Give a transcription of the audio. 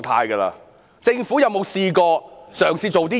主席，政府有否嘗試過做甚麼呢？